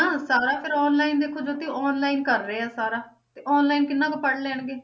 ਨਾ ਸਾਰਾ ਫਿਰ online ਦੇਖੋ ਜੋਤੀ online ਕਰ ਰਹੇ ਆ ਸਾਰਾ ਤੇ online ਕਿੰਨਾ ਕੁ ਪੜ੍ਹ ਲੈਣਗੇ।